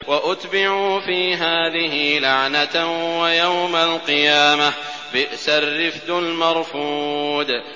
وَأُتْبِعُوا فِي هَٰذِهِ لَعْنَةً وَيَوْمَ الْقِيَامَةِ ۚ بِئْسَ الرِّفْدُ الْمَرْفُودُ